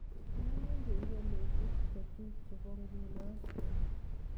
Inemu kengeleshek chechuk chebo nguno oli